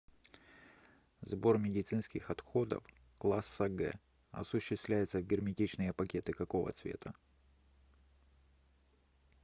сбор медицинских отходов класса г осуществляется в герметичные пакеты какого цвета